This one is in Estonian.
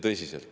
Tõsiselt.